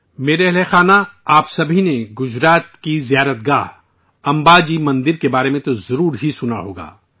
میرے ہم وطنو، آپ سبھی نے گجرات کے تیرتھ علاقہ امبا جی مندر کے بارے میں تو ضرور ہی سنا ہوگا